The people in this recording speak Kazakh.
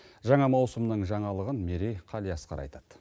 жаңа маусымның жаңалығын мерей қалиасқар айтады